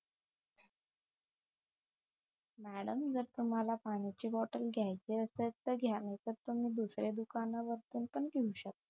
madam जर तुम्हाला पाण्याची बॉटल घ्याची असेल तर घ्या नाहीतर तुम्ही दुसऱ्या दुकाना वर पण घेऊ शकता